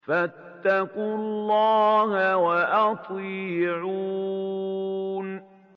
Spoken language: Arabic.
فَاتَّقُوا اللَّهَ وَأَطِيعُونِ